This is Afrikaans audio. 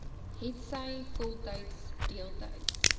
hetsy voltyds deeltyds